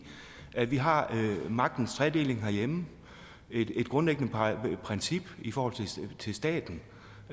at vi har magtens tredeling herhjemme et grundlæggende princip i forhold til staten